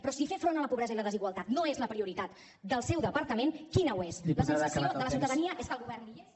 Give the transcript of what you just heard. però si fer front a la pobresa i la desigualtat no és la prioritat del seu departament quina ho és la sensació de la ciutadania és que el govern ni hi és ni